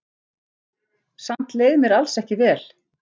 Samt leið mér alls ekki vel.